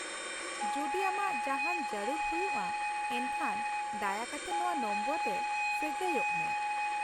ᱡᱩᱫᱤ ᱟᱢᱟᱜ ᱡᱟᱦᱟᱱ ᱡᱟᱹᱨᱩᱲ ᱦᱩᱭᱩᱜᱼᱟ ᱮᱱᱠᱷᱟᱱ ᱫᱟᱭᱟ ᱠᱟᱛᱮ ᱱᱚᱶᱟ ᱱᱚᱢᱵᱚᱨ ᱨᱮ ᱥᱟᱹᱜᱟᱹᱭᱚᱜ ᱢᱮ ᱾